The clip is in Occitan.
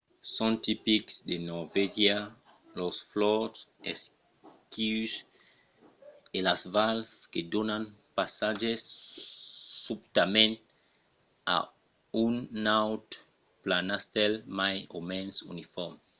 son tipics de norvègia los fjords esquius e las vals que donan passatge subtament a un naut planastèl mai o mens unifòrme